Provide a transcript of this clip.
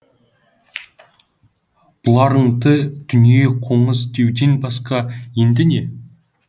бұларыңды дүние қоңыз деуден басқа енді не